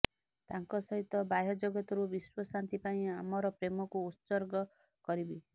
ତାଙ୍କ ସହିତ ବାହ୍ୟଜଗତରୁ ବିଶ୍ବଶାନ୍ତି ପାଇଁ ଆମର ପ୍ରେମକୁ ଉତ୍ସର୍ଗ କରିବି